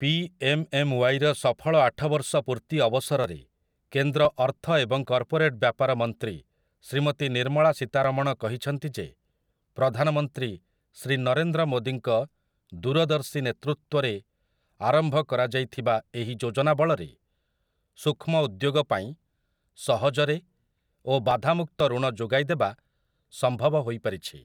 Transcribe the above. P M M ୱାଇ'ର ସଫଳ ଆଠବର୍ଷ ପୂର୍ତ୍ତି ଅବସରରେ କେନ୍ଦ୍ର ଅର୍ଥ ଏବଂ କର୍ପୋରେଟ୍‌ ବ୍ୟାପାର ମନ୍ତ୍ରୀ ଶ୍ରୀମତୀ ନିର୍ମଳା ସୀତାରମଣ କହିଛନ୍ତି ଯେ, ପ୍ରଧାନମନ୍ତ୍ରୀ ଶ୍ରୀ ନରେନ୍ଦ୍ର ମୋଦୀଙ୍କ ଦୂରଦର୍ଶୀ ନେତୃତ୍ୱରେ ଆରମ୍ଭ କରାଯାଇଥିବା ଏହି ଯୋଜନା ବଳରେ ସୂକ୍ଷ୍ମ ଉଦ୍ୟୋଗ ପାଇଁ ସହଜରେ ଓ ବାଧାମୁକ୍ତ ଋଣ ଯୋଗାଇ ଦେବା ସମ୍ଭବ ହୋଇପାରିଛି ।